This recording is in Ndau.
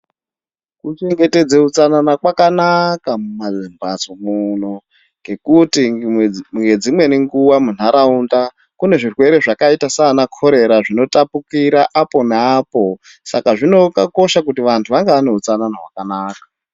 Kuchengetedze utsanana kwakanaka mumamhatso muno ngekuti ngedzimweni nguwa munharaunda kune zvirwere zvakaita sana korera, zvinotapukira apo neapo saka zvinokosha kuti antu ange aneutsanana wakanaka.